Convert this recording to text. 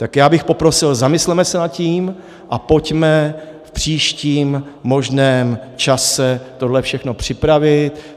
Tak já bych poprosil, zamysleme se nad tím a pojďme v příštím možném čase tohle všechno připravit.